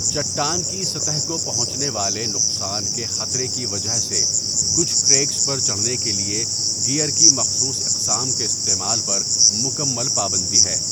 چٹان کی سطح کو پہنچنے والے نقصان کے خطرے کی وجہ سے کچھ کریگس پر چڑھنے کے لیے گیئر کی مخصوص اقسام کے استعمال پر مکمل پابندی ہے۔